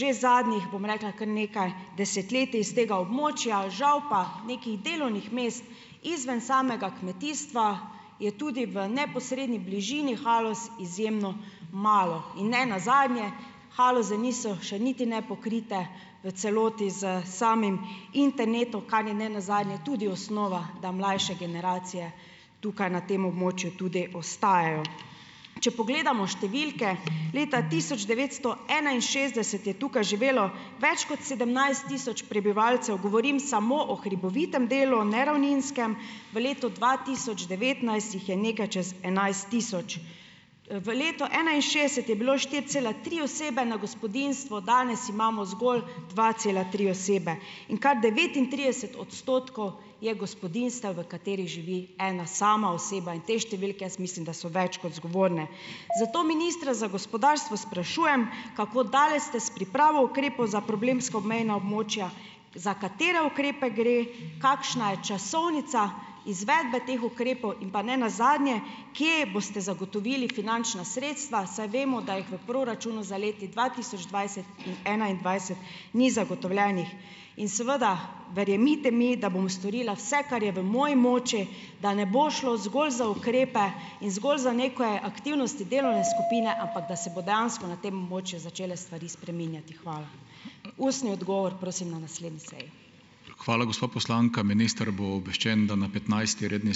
že zadnjih, bom rekla, kar nekaj desetletij s tega območja. Žal pa nekih delovnih mest izven samega kmetijstva je tudi v neposredni bližini Haloz izjemno malo. In nenazadnje, Haloze niso še niti ne pokrite v celoti s samim internetom, kar je nenazadnje tudi osnova, da mlajše generacije tukaj, na tem območju tudi ostajajo. Če pogledamo številke, leta tisoč devetsto enainšestdeset je tukaj živelo več kot sedemnajst tisoč prebivalcev, govorim samo o hribovitem delu, ne ravninskem, v letu dva tisoč devetnajst jih je nekaj čez enajst tisoč. v letu enainšestdeset je bilo štiri cela tri osebe na gospodinjstvo, danes imamo zgolj dva cela tri osebe. In kar devetintrideset odstotkov je gospodinjstev, v katerih živi ena sama oseba. In te številke jaz mislim, da so več kot zgovorne. Zato ministra za gospodarstvo sprašujem: Kako daleč ste s pripravo ukrepov za problemska obmejna območja, za katere ukrepe gre, kakšna je časovnica izvedbe teh ukrepov in pa nenazadnje, kje boste zagotovili finančna sredstva, saj vemo, da jih v proračunu za leti dva tisoč dvajset in enaindvajset ni zagotovljenih. In, seveda, verjemite mi, da bom storila vse, kar je v moji moči, da ne bo šlo zgolj za ukrepe in zgolj za neke aktivnosti delovne skupine, ampak da se bo dejansko na tem območju začele stvari spreminjati. Hvala. Ustni odgovor, prosim, na naslednji seji.